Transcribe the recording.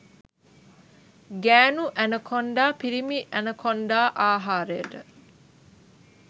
ගෑණු ඇනකොන්ඩා පිිරිමි ඇනකොන්ඩා ආහාරයට